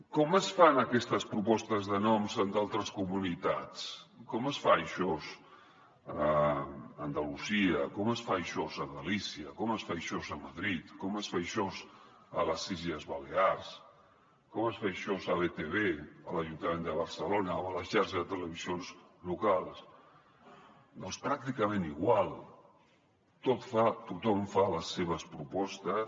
com es fan aquestes propostes de noms en altres comunitats com es fa això a andalusia com es fa això a galícia com es fa això a madrid com es fa això a les illes balears com es fa això a btv a l’ajuntament de barcelona o a la xarxa de televisions locals doncs pràcticament igual tothom fa les seves propostes